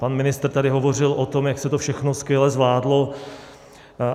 Pan ministr tady hovořil o tom, jak se to všechno skvěle zvládlo.